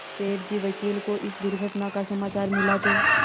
सेठ जी वकील को इस दुर्घटना का समाचार मिला तो